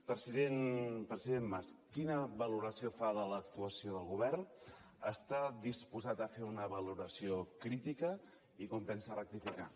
president mas quina valoració fa de l’actuació del govern està disposat a fer una valoració crítica i com pensa rectificar